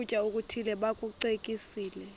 ukutya okuthile bakucekise